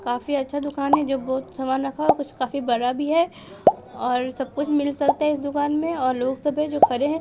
काफी अच्छा दुकान है जो बहुत सामान रखा कुछ काफी बरा भी है और सब कुछ मिल सकता है इस दुकान में और लोग सब है जो खरे हैं।